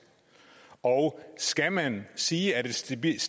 og skal man sige at et stabilt